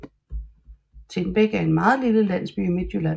Tindbæk er en meget lille landsby i Midtjylland